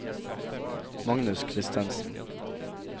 Magnus Kristensen